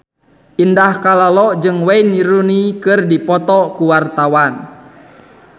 Indah Kalalo jeung Wayne Rooney keur dipoto ku wartawan